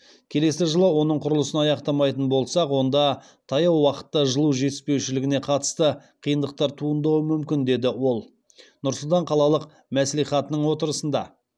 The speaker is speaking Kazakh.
келесі жылы оның құрылысын аяқтамайтын болсақ онда таяу уақытта жылу жетіспеушілігіне қатысты қиындықтар туындауы мүмкін деді ол нұр сұлтан қалалық мәслихатының отырысында